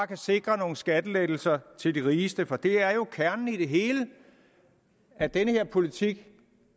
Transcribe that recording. kan sikre nogle skattelettelser til de rigeste det er jo kernen i det hele at den politik